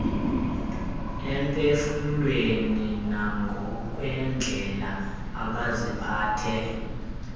emphefumlweni nangokwendlela abaziphethe